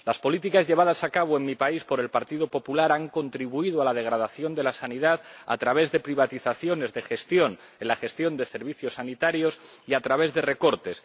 Las políticas llevadas a cabo en mi país por el Partido Popular han contribuido a la degradación de la sanidad a través de privatizaciones en la gestión de servicios sanitarios y a través de recortes.